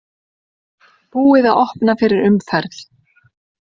Búið að opna fyrir umferð